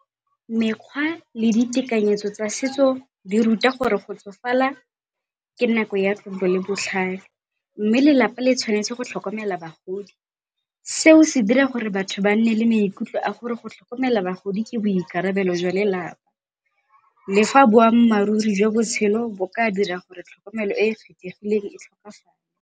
Mekgwa le ditekanyetso tsa setso di ruta gore go tsofala ke nako ya tlotlo le botlhale mme lelapa le tshwanetse go tlhokomela bagodi. Seo se dira gore batho ba nne le maikutlo a gore go tlhokomela bagodi ke boikarabelo jwa lelapa le fa boammaruri jwa botshelo bo ka dira gore tlhokomelo e .